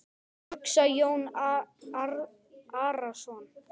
hugsaði Jón Arason.